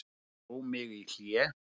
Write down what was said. Dró mig í hlé.